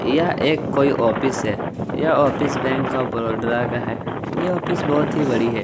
यह एक कोई ऑफिस है ये ऑफिस बैंक ऑफ़ बरोद्रा का है ये ऑफिस बहुत ही बड़ी है।